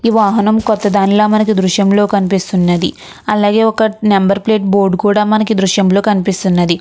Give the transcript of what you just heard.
ఈ వాహనం కొత్త దానిలా మనకి ఈ దృశ్యంలో కనిపిస్తున్నది అలాగే ఒక నెంబర్ ప్లేట్ బోర్డ్ కుడా మనకి దృశ్యంలో కనిపిస్తున్నది.